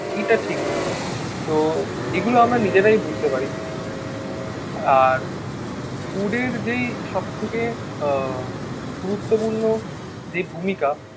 এইটা ঠিক হয়নি. তো এগুলো আমরা নিজেরাই বুঝতে পারি. আর ফুডের যেই সবথেকে আহ গুরুত্বপূর্ণ যে ভূমিকা